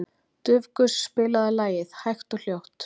Dufgus, spilaðu lagið „Hægt og hljótt“.